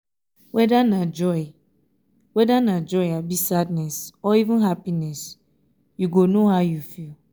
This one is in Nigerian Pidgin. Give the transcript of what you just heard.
weda na joy weda na joy abi sadness or even happiness yu go no how yu feel